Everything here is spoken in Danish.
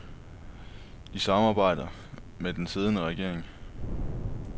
De samarbejder med den siddende regering.